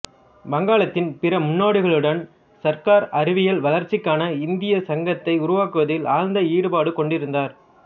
வங்காளத்தின் பிற முன்னோடிகளுடன் சர்க்கார் அறிவியல் வளர்ச்சிக்கான இந்திய சங்கத்தை உருவாக்குவதில் ஆழ்ந்த ஈடுபாடு கொண்டிருந்தார்